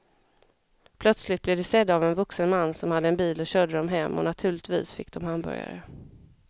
Plötsligt blev de sedda av en vuxen man som hade en bil och körde dem hem och naturligtvis fick de hamburgare.